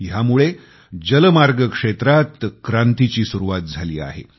ह्यामुळे जलमार्ग क्षेत्रात क्रांतीची सुरवात झाली आहे